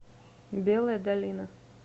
белая долина